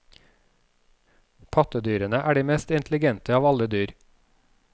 Pattedyrene er de mest intelligente av alle dyr.